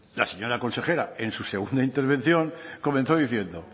la señora consejera en su segunda intervención comenzó diciendo